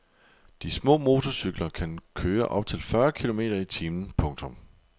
De små motorcykler kan køre op til fyrre kilometer i timen. punktum